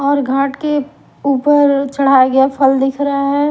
और घाट के ऊपर चढ़ाया गया फल दिख रहा है।